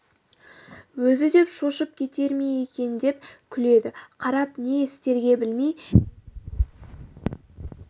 өзі деп шошып кетер ме екен деп күледі қарап не істерге білмей жетімсіреп қалдық